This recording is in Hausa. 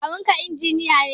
Kawunka injiniya ne?